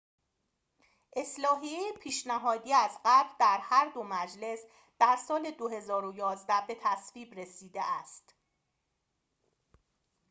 اصلاحیه پیشنهادی از قبل در هر دو مجلس در سال ۲۰۱۱ به تصویب رسیده است